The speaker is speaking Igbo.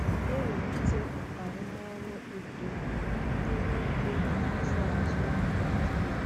na-ewulite arụmọrụ uto dị n'ugbo ịzụ azụ Naịjiria.